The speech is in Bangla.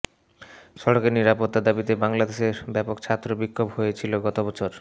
সড়কে নিরাপত্তার দাবিতে বাংলাদেশে ব্যাপক ছাত্র বিক্ষোভ হয়েছিল গত বছর